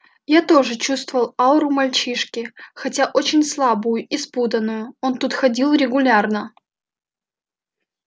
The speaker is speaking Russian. я тоже чувствовал ауру мальчишки хотя очень слабую и спутанную он тут ходил регулярно